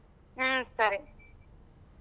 ಹ್ಮ ಸರಿ.